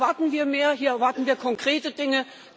haben. Hier erwarten wir mehr, hier erwarten wir konkrete